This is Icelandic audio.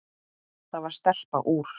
Það var stelpa úr